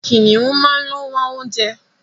Kìnìún máa ń ló wá oúnjẹ.